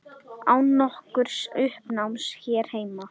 Án nokkurs uppnáms hér heima.